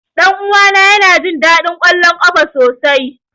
Ɗan uwana yana jin daɗin kallon ƙwallon ƙafa sosai.